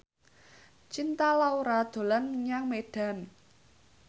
Cinta Laura dolan menyang Medan